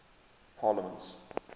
parliaments